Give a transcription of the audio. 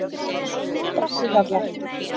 Brekkuhjalla